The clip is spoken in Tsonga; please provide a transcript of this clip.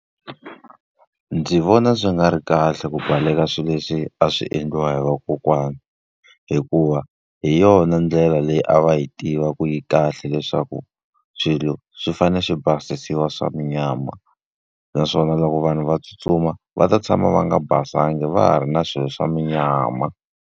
Ndzi vona swi nga ri kahle ku baleka swilo leswi a swi endliwa hi va kokwana. Hikuva, hi yona ndlela leyi a va yi tiva ku yi kahle leswaku swilo swi fanele swi basisiwa swa munyama. Naswona loko vanhu va tsutsuma va ta tshama va nga basanga va ha ri na swilo swa munyama.